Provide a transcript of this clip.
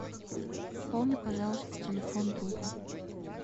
пополни пожалуйста телефон друга